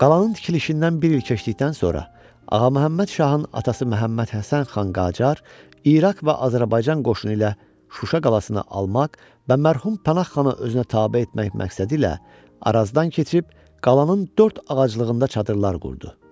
Qalanın tikilişindən bir il keçdikdən sonra Ağaməhəmməd şahın atası Məhəmmədhəsən xan Qacar İraq və Azərbaycan qoşunu ilə Şuşa qalasına almaq və mərhum Pənah xanı özünə tabe etmək məqsədilə Arazdan keçib qalanın dörd ağaclığında çadırlar qurdu.